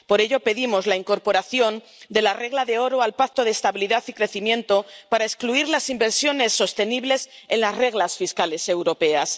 Por ello, pedimos la incorporación de la regla de oro al Pacto de Estabilidad y Crecimiento para excluir las inversiones sostenibles de las reglas fiscales europeas.